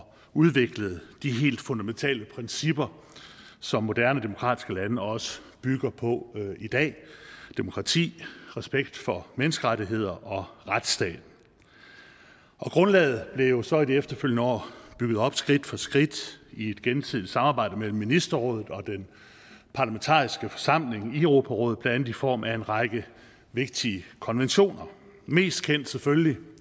udviklede de helt fundamentale principper som moderne demokratiske lande også bygger på i dag demokrati respekt for menneskerettigheder og retsstat grundlaget blev jo så i de efterfølgende år bygget op skridt for skridt i et gensidigt samarbejde mellem ministerrådet og den parlamentariske forsamling i europarådet blandt andet i form af en række vigtige konventioner mest kendt er selvfølgelig